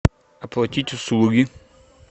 оплатить услуги